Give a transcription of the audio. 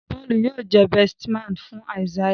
Paul yíò jé besti man fún Isaiah